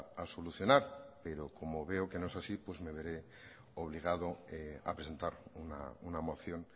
a solucionar pero como veo que no es así pues me veré obligado a presentar una moción